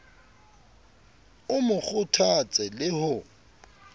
o mo kgothatse le ho